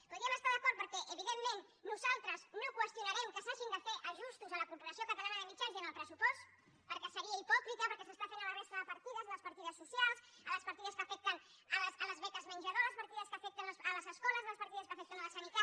hi podríem estar d’acord perquè evidentment nosaltres no qüestionarem que s’hagin de fer ajustos a la corporació catalana de mitjans i en el pressupost perquè seria hipòcrita perquè s’està fent a la resta de partides les partides socials a les partides que afecten les beques menjador a les partides que afecten les escoles a les partides que afecten la sanitat